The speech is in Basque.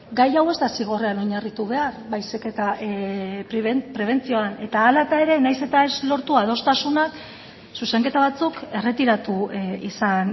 gai hau ez da zigorrean oinarritu behar baizik eta prebentzioan eta hala eta ere nahiz eta ez lortu adostasunak zuzenketa batzuk erretiratu izan